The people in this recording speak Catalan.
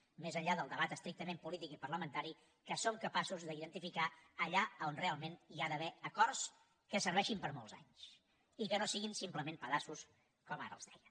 més enllà del debat estrictament polític i parlamentari que som capaços d’identificar allà on realment hi ha d’haver acords que serveixin per molts anys i que no siguin simplement pedaços com ara els deia